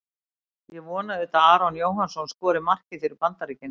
Ég vona auðvitað að Aron Jóhannsson skori markið fyrir Bandaríkin.